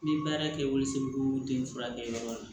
N ye baara kɛ woso den furakɛyɔrɔ la